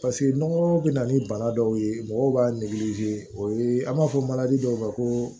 Paseke nɔgɔ bɛ na ni bana dɔw ye mɔgɔw b'a o ye an b'a fɔ dɔw ma ko